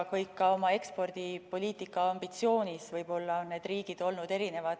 Ka oma ekspordipoliitika ambitsioonis on need riigid olnud erinevad.